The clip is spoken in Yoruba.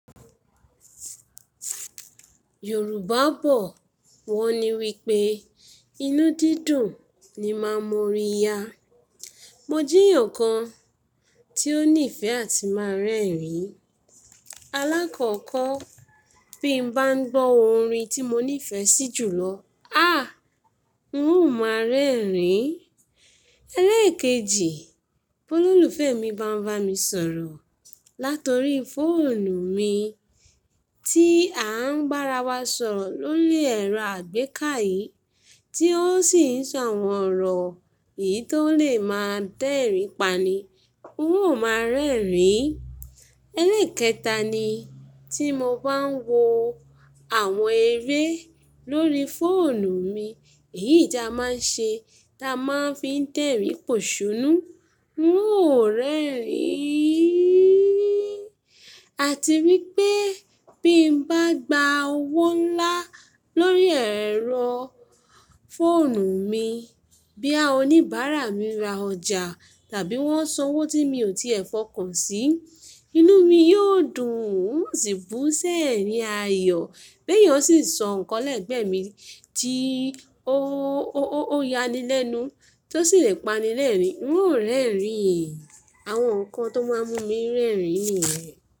Yorùbá bọ̀ wọ́n ní wípé inú dídùn ni máa ń mo orí ya. Mo jíyàn kan tí ó nífẹ̀ẹ́ àti máa rẹ́rìn-ín. Alákọ̀ọ́kọ́ bí n bá ń gbọ́ orin tí mo nífẹ̀ẹ́ sí jù lọ, a! N óò máa rẹ́rìn-ín. Ẹlẹ́ẹ̀kejì, bó lólùfẹ́ mi bá ń bá mi sọ̀rọ̀ látọ̀rí fóònù mi tí à ń barawa sọ̀rọ̀ lórí ẹ̀rọ àgbéká yìí tí ó sì ń sọ àwọn ọ̀rọ̀ èyí tó lè máa dẹ́rìn-ín pani, n óò máa rẹ́rìn-ín. Ẹlẹ́ẹ̀kẹta ni tí mo bá ń wo àwọn eré lórí fóònù mi, èyí ti a máa ń ṣe dá máa ń fi dẹ́rìn-ín pòṣónú, n óò rẹ́rìn-ín. Àti wípé bí n bá gba owó ńlá lórí ẹ̀rọ fóònù mi, bí a oníbàárà mi ra ọjà tàbí wọ́n san owó tí mi ò tíẹ̀ fọkàn sí, inú mi yóò dùn, n ó sì bú ṣẹ́rìn ayo béyàn sì sọ nǹkan lẹ́gbẹ́ mi tí ó, ó, ó ya ni lẹ́nu tí ó sì lè pani lẹ́rìn-ín, n óò rẹ́rìn-ín. Àwọn nǹkan tó máa ń mú mi rẹ́rìn-ín nìyẹn.